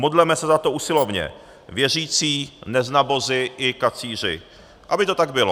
Modleme se za to usilovně, věřící, neznabozi i kacíři, aby to tak bylo.